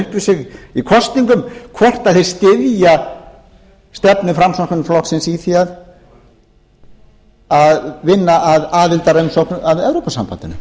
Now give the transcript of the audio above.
upp við sig í kosningum hvort þeir styðja stefnu framsóknarflokksins í því að vinna að aðildarumsókn að evrópusambandinu